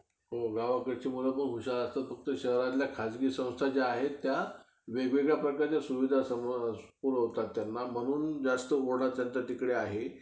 Bank त काय कोणते document असतं कागदपत्र, वगैरे सगळं माहिती असलं कि होऊन जाईल मग. pro काही समस्या आली, तर तुला phone करेल.